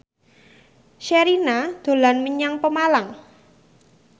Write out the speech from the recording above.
Sherina dolan menyang Pemalang